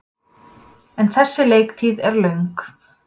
En þessi leiktíð er löng.